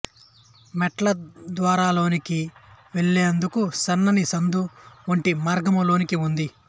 మెట్లద్వారాలోనికి వెళ్లేందుకు సన్నని సందు వంటి మార్గము లోనికి ఉంది